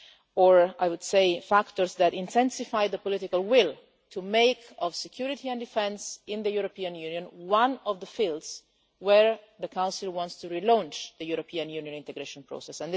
or, I would say, factors that intensified the political will to make security and defence in the European Union one of the fields where the Council wants to relaunch the European Union integration process.